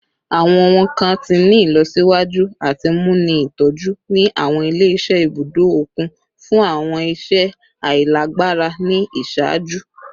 Awọn ohun kan ti ni ilọsiwaju ati mu ni itọju ni awọn ile-iṣẹ ibudo okun fun awọn iṣẹ ailagbara ni iṣaaju